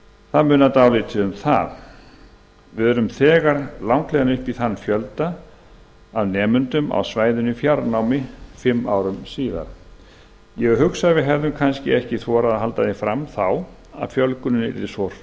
það munar dálítið um það fimm árum síðar höfum við hátt í þann fjölda af nemendum á svæðinu í fjarnámi ég hugsa að við hefðum kannski ekki þorað að halda því fram þá að fjölgunin yrði svo